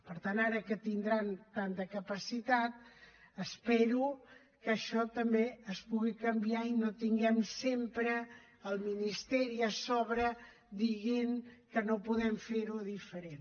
per tant ara que tindran tanta capacitat espero que això també es pugui canviar i no tinguem sempre el ministeri a sobre dient que no podem fer ho diferent